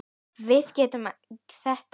Við megum þetta ekki!